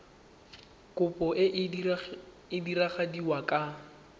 kopo e e diragadiwa ka